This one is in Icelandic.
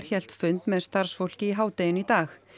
hélt fund með starfsfólki í hádeginu í dag